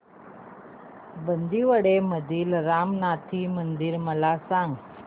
बांदिवडे मधील रामनाथी मंदिर मला सांग